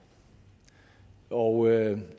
og